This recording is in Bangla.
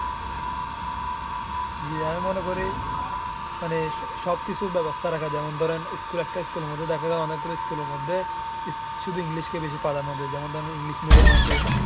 জি আমি মনে করি মানে সব কিছুর বেবস্থা রাখা যেমন ধরেন একটা school মধ্যে অনেক গুলা school মধ্যে শুধু english কে বেশি প্রধান্ন দেয়। যেমন ধরেন English Medium আছে।